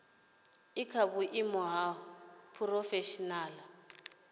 i kha vhuimo ha phurofeshinala